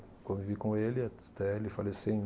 Convivi com ele até ele falecer em